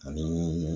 Ani